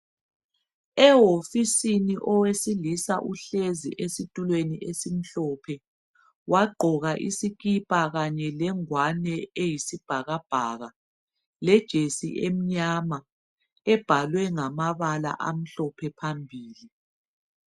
Ewofisini owesilisa uhlezi esitulweni esimhlophe, wagqoka isikipa kanye lengwane eyisibhakabhaka lejesi emnyama ebhalwe amabala amhlophe phambili.